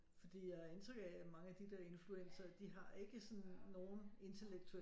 Fordi jeg har indtryk af at mange af de der influencere de har ikke sådan nogen interlektuel